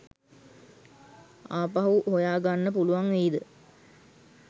ආපහු හොයා ගන්න පුළුවන් වෙයිද?